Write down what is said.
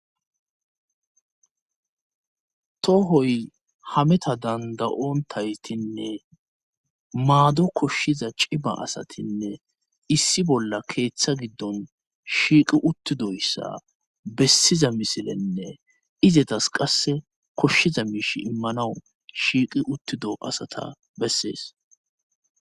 Toohoy hameta dandayontaytinne maado koshshiza ciba asatinne issi bolla keeththa giddon shiiqi uttidoyssa bessiza misilenne izetas qasse koshshiza miish immanaw shiiqi uttido asata bessees.